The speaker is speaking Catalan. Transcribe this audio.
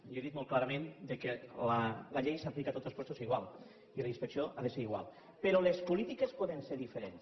jo he dit molt clarament que la llei s’aplica a tots els llocs igual i la inspecció ha de ser igual però les polítiques poden ser diferents